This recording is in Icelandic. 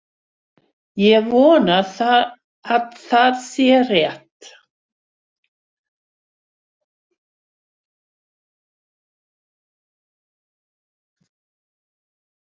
Ég vona að það sé rétt.